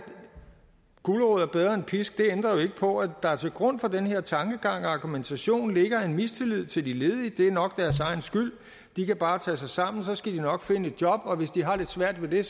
gulerod er bedre end pisk ændrer jo ikke på at der til grund for den her tankegang og argumentation ligger en mistillid til de ledige det er nok deres egen skyld de kan bare tage sig sammen så skal de nok finde et job og hvis de har svært ved